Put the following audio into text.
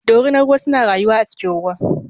Dorinar ruwa suna rayuwa a cikin ruwa.